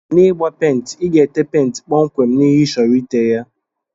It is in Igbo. N'igba penti iga ete penti kpọmkwem na ihe ichọrọ ite ya.